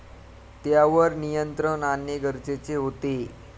त्यावर नियंत्रण आणणे गरजेचे होते.